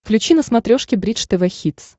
включи на смотрешке бридж тв хитс